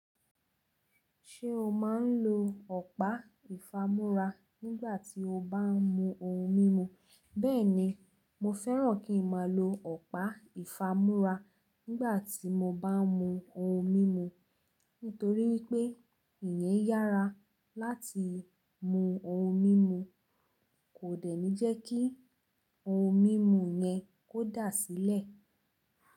Ṣé o má ń lo ọ̀pá ìfamú́ra nígbà tí o bá ń mu ohun mímu? Bẹ́ẹ̀ni, mo fẹ́ràn kí n má lo ọ̀pá ìfamú́ra nígbà tí mo bá ń mu ohun mímu, nítorí wípé ìyẹn yára láti mú ohun mímu kò dẹ̀ ní jẹ́ kí ohun mímu yẹn kò dà sílẹ̀.